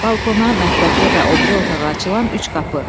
Balkona, mətbəxə və o biri otağa açılan üç qapı.